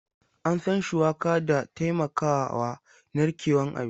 An san shuwaka da taimakawa narkewan abinci.